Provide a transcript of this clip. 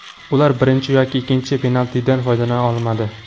Ular birinchi yoki ikkinchi penaltidan foydalana olmadi.